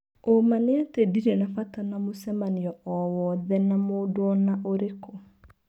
ũma nĩ atĩ ndirĩ na bata na mũcemanio o wothe na mũndũona ũrĩkũ.